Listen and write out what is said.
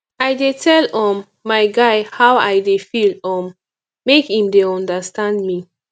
i dey tell um my guy how i dey feel um make im dey understand me